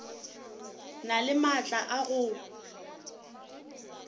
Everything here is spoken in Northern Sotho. na le maatla a go